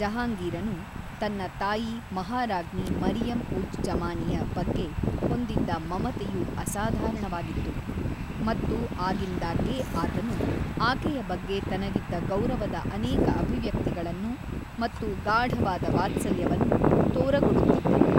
ಜಹಾಂಗೀರನು ತನ್ನ ತಾಯಿ ಮಹಾರಾಜ್ಞಿ ಮರಿಯಮ್‌ ಉಜ್ ಜಮಾನಿಯ ಬಗ್ಗೆ ಹೊಂದಿದ್ದ ಮಮತೆಯು ಅಸಾಧಾರಣವಾಗಿತ್ತು, ಮತ್ತು ಆಗಿಂದಾಗ್ಗೆ ಆತನು ಆಕೆಯ ಬಗ್ಗೆ ತನಗಿದ್ದ ಗೌರವದ ಅನೇಕ ಅಭಿವ್ಯಕ್ತಿಗಳನ್ನು ಮತ್ತು ಗಾಢವಾದ ವಾತ್ಸಲ್ಯವನ್ನು ತೋರಗೊಡುತ್ತಿದ್ದನು.